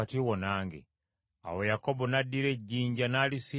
Awo Yakobo n’addira ejjinja n’alisimba ng’empagi.